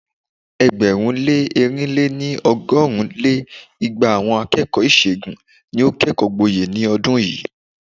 ẹgbẹ̀rún lé ẹ̀rin lé-ní- ọgọ́rin lé igba àwọn akẹ́kọ̀ọ́ ìṣègùn ni ó kẹ́kọ̀ọ́ gboyè ní ọdún yìí.